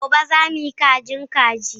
Gobe, za mu yi kajin kaji.